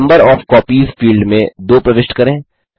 number of copies field में 2 प्रविष्ट करें